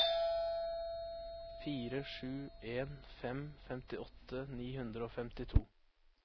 fire sju en fem femtiåtte ni hundre og femtito